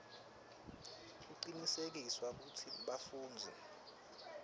kucinisekiswe kutsi bafundzi